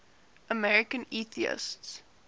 american atheists